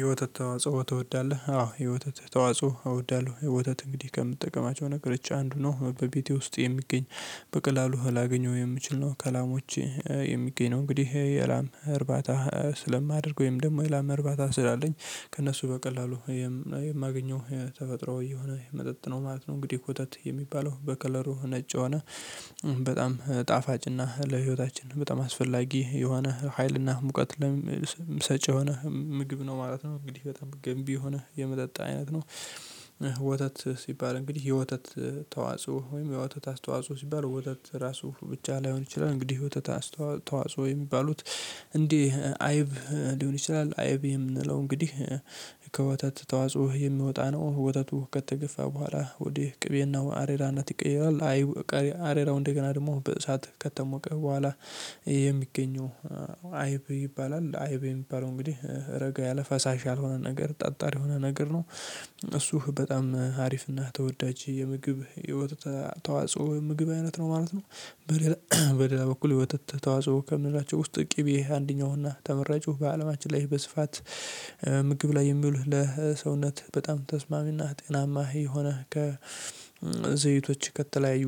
የወተት ተዋጽኦ ትወዳለህ አዎ የወተት ተዋጽኦ እወዳለሁ። የወተት እንግዲህ ከምትጠቀማቸው ነገር አንዱ ነው በቤቴ ውስጥ የሚገኝ በቀላሉ ላገኘው የምችል ነው ከላሞቼ የሚገኝ ነው። እንግዲህ የላም እርባታ ስለማደርግ ወይም ደግሞ የላም እርባታ ስላለኝ ከእነሱ በቀላሉ የማገኘው የተፈጥሮ እየሆነ መጠጥ ነው ማለት ነው። እንግዲህ ወተት የሚባለው በከለሩ ነጭ ሆነ በጣም ጣፋጭና ለህይወታችን በጣም አስፈላጊ የሆነ ሀይልና ሙቀት ለምሰጭ የሆነ ምግብ ነው ማለት ነው። እንግዲህ በጣም ገንቢ የሆነ የመጠጥ አይነት ነው። ወተት ሲባል እንግዲህ የወተት ተዋጽኦ ወይም የወተት አስተዋጽኦ ሲባል የወተት ራሱ ብቻ ላይሆን ይችላል። እንግዲህ ወተት አስተዋጽኦ የሚባሉት እንዲህ አይብ ሊሆን ይችላል አይብ የምንለው እንግዲህ ከወተት ተዋጽኦ የሚወጣ ነው። ወተቱ ከተገፋ በኋላ ወዴ ቅቤናው አሬራነት ይቀየራል አይብ ቀሪ አሬራው እንደገና ደግሞ በሳት ከተሞቀ በኋላ የሚገኘው አይብ ይባላል አይብ የሚባለው እንግዲህ ረጋ ያለ ፈሳሽ ያልሆነ ነገር ጠጣር የሆነ ነገር ነው። እሱ በጣም አሪፍና ተወዳጅ የምግብ የወተት ተዋጽኦ ምግብ አይነት ነው ማለት ነው። በሌላ በሌላ በኩል የወተት ተዋጽኦ ከምላቸው ውስጥ ቅቤ አንደኛውና ተመራጩ በአለማችን ላይ በስፋት ምግብ ላይ የሚውሉ ለሰውነት በጣም ተስማሚና ጤናማ የሆነ ከዘይቶች ከተለያዩ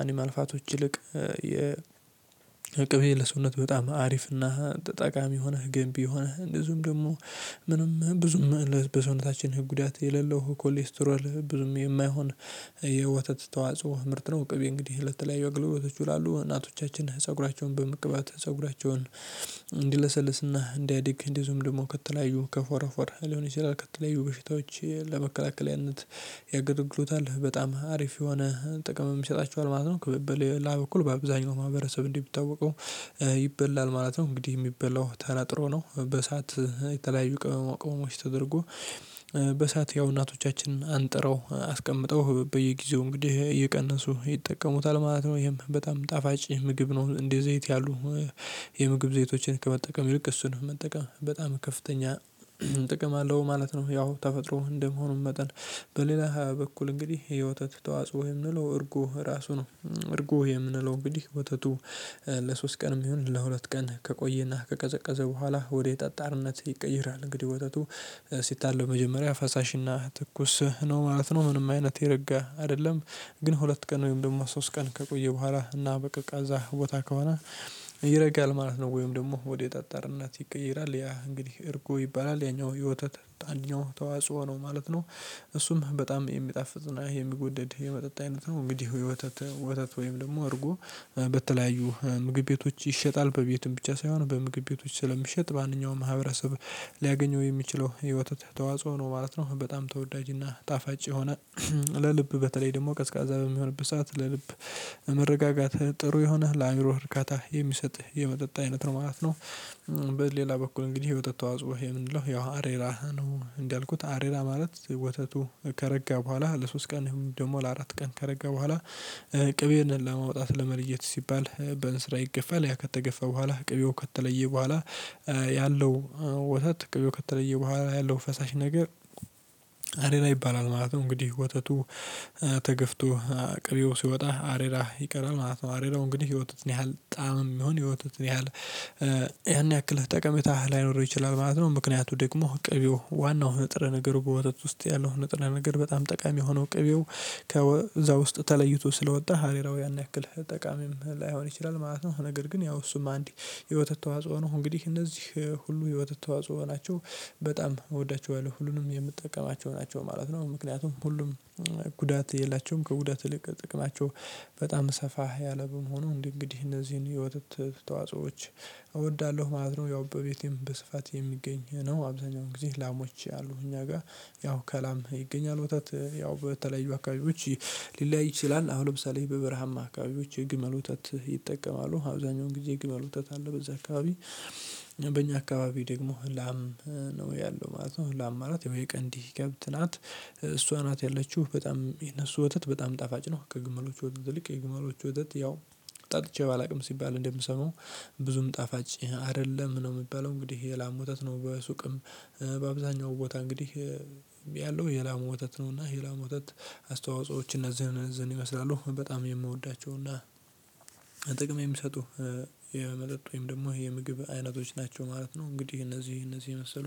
አኒማል ፋቶች ይልቅ የ ቅቤ ለሰውነት በጣም አሪፍና ጠቃሚ የሆነ ገንቢ የሆነ እንደዚሁም ደግሞ ምንም ብዙም በሰውነታችን ህግ ጉዳት የሌለው ኮሌስትሮል ብዙም የማይሆን የወተት ተዋጽኦ ምርት ነው። ቅቤ እንግዲህ ለተለያዩ አገልግሎቶቹ ይውላሉ እናቶቻችን ፀጉራቸውን በመቅባት ፀጉራቸውን እንዲለሰልስና እንዲያድግ እንዲዚሁም ደግሞ ከተለያዩ ከፎረፎር ሊሆን ይችላል ከተለያዩ በሽታዎች ለመከላከል ያንንት የግልግሎታል በጣም አሪፍ የሆነ ጥቅም የሚሰጣቸው ማለት ነው። በሌላ በኩል በአብዛኛው ማህበረሰብ እንዲህ ብታውቀው ይበላል ማለት ነው። እንግዲህ የሚበላው ተነጥሮ ነው በእሳት የተለያዩ ቅመማ ቅመሞች ተደርጎ በእሳት ያው እናቶቻችንን አንጥረው አስቀምጠው በየጊዜው እንግዲህ እየቀነሱ ይጠቀሙታል ማለት ነው። ይሄም በጣም ጣፋጭ ምግብ ነው። እንደ ዘይት ያሉ የምግብ ዘይቶችን ከመጠቀም ይልቅ እሱን መጠቀም በጣም ከፍተኛ ጥቅም አለው ማለት ነው። ያው ተፈጥሮ እንደመሆኑ መጠን በሌላ በኩል እንግዲህ የወተት ተዋጽኦ የምንለው እርጎ ራሱ ነው። እርጎ የምንለው እንግዲህ ወተቱ ለሶስት ቀንም ይሁን ለሁለት ቀን ከቆየና ከቀዘቀዘ በኋላ ወደ ጠጣርነት ይቀይራል። እንግዲህ ወተቱ ሲታለብ መጀመሪያ ፈሳሽና ትኩስ ነው ማለት ነው ምንም አይነት የረጋ አይደለም። ግን ሁለት ቀን ወይም ደግሞ ሶስት ቀን ከቆየ በኋላ እና በቀዝቃዛ ቦታ ከሆነ ይረጋል ማለት ነው። ወይም ደግሞ ወደ ጣጣርነት ይቀየራል ያ እንግዲህ እርጎ ይባላል ያኛው የወተት አንዽኛው ተዋጽኦ ነው ማለት ነው። እሱም በጣም የሚጣፍጥና የሚወደድ የመጠጥ አይነት ነው። እንግዲህ ወተት ወተት ወይም ደግሞ አድርጎ በተለያዩ ምግብ ቤቶች ይሸጣል በቤቱም ብቻ ሳይሆን በምግብ ቤቶች ስለሚሸጥ ማንኛውም ማህበረሰብ ሊያገኘው የሚችለው የወተት ተዋጽኦ ነው ማለት ነው። በጣም ተወዳጅና ጣፋጭ የሆነ ለልብ በተለይ ደግሞ ቀዝቃዛ በሚሆንበት ሰዓት ለልብ መረጋጋት ጥሩ የሆነ ለአእምሮህ እርካታ የሚሰጥህ የመጠጥ አይነት ነው ማለት ነው። በሌላ በኩል እንግዲህ የወተት ተዋጽሁ ይሄ ምንድነው? ያው አሬራ ነው እንዳልኩት አሬራ ማለት ወተቱ ከረጋ በኋላ ለሶስት ቀን ደግሞ ለአራት ቀን ከረጋ በኋላ ቅቤን ለማውጣት ለመልየት ሲባል በእንስራ ይገፋል ያ ከተገፋ በኋላ ቅቤው ከተለየ በኋላ ያለው ወተት ቅቤው ከተለየ በኋላ ያለው ፈሳሽ ነገር አሬራ ይባላል ማለት ነው። እንግዲህ ወተቱ ተገፍቶ ቅቤው ሲወጣ አሬራ ይቀራል ማለት ነው። አሬራው እንግዲህ የወተቱን ያህል ጣዕምም ይሁን የወተቱን ያህል ያን ያክል ጠቀሜታ ላይኖር ይችላል ማለት ነው። ምክንያቱ ደግሞ ቅቤው ዋናው ንጥረ ነገር በወተት ውስጥ ያለው ነጥረ ነገር በጣም ጠቃሚ የሆነው ቅቤው ከዛ ውስጥ ተለይቶ ስለወጣ አሬራው ያን ያክልህ ጠቃሚም ላይሆን ይችላል ማለት ነው። ነገር ግን ያው እሱም አንግዲህ የወተት ተዋጽኦ ነው። እንግዲህ እነዚህ ሁሉ የወተት ተዋጽኦ ናቸው። በጣም እወዳቸዋለሁ ሁሉንም የምጠቀማቸው ናቸው ማለት ነው። ምክንያቱም ሁሉም ጉዳት የላቸውም ከጉዳት እልቅ ጥቅማቸው በጣም ሰፋ ያለ በመሆኑ እንዴ እንግዲህ እነዚህን የወጥት ተዋጽኦዎች እወዳለሁ ማለት ነው። ያው በቤቴም በስፋት የሚገኝ ነው አብዛኛው ጊዜ ላሞች ያሉ እኛ ጋር ያው ከላም ይገኛል። ወተት ያው በተለያዩ አካባቢዎች ሊለያይ ይችላል። አሁን ለምሳሌ በበረሃማ አካባቢዎች የግመል ወተት ይጠቀማሉ። አብዛኛው ጊዜ የግመል ወተት አለ በዛ አካባቢ። በእኛ አካባቢ ደግሞ ላም ነው ያለው ማለት ነው። ላም ማለት የቀንዲ ከብት ናት። እሷ ናት ያለችው በጣም የነሱ ወተት በጣም ጣፋጭ ነው። ከግመሎቹ ወተት ይልቅ የግመሎቹ ወተት ያው ጠጥቼ ባላውቅም ሲባል እንደምሰማው ብዙም ጣፋጭ አይደለም ነው የሚባለው እንግዲህ የላሙ ወተት ነው። በሱቅም በአብዛኛው ቦታ እንግዲህ ያለው የላሙ ወተት ነውና የላሙ ወተት አስተዋጽኦዎች እነዚህን እነዚህን ይመስላሉ በጣም የምወዳቸውና ጥቅም የሚሰጡ የመጠጥ ወይም ደግሞ የምግብ አይነቶች ናቸው ማለት ነው። እንግዲህ እነዚህ እነዚህ የመሰሉ